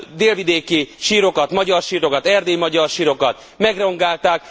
délvidéki sírokat, magyar sírokat, erdélyi magyar sírokat megrongálták?